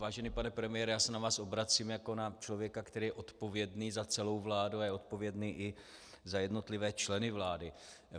Vážený pane premiére, já se na vás obracím jako na člověka, který je odpovědný za celou vládu a je odpovědný i za jednotlivé členy vlády.